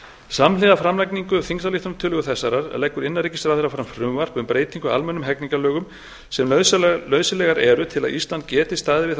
samhliða framlagningu þingsályktunartillögu þessarar leggur innanríkisráðherra fram frumvarp um breytingu á almennum hegningarlögum sem nauðsynlegar eru til að ísland geti staðið við þær